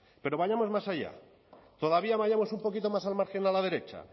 pero vayamos más allá todavía vayamos un poquito más al margen a la derecha